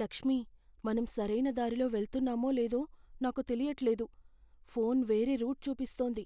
లక్ష్మీ, మనం సరైన దారిలో వెళ్తున్నామో లేదో నాకు తెలియట్లేదు. ఫోన్ వేరే రూట్ చూపిస్తోంది